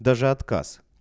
даже отказ